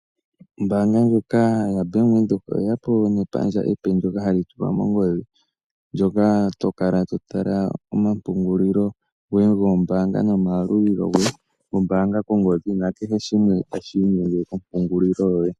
Ombaanga ndjoka yaBank Windhoek oyeya po nepandja ndoka epe ndjoka hali tulwa mongodhi, ndoka tokala totala omapungulilo goye gombaanga nomayalulilo goye gombaanga kongodhi, nakehe shimwe tashi inyenge kompungulilo yoye.